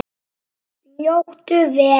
Njóttu vel.